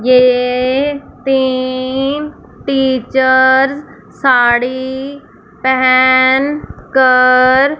ये तीन टीचर्स साड़ी पहन कर--